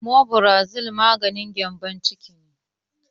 Omefarazole maganin gembon ciki ne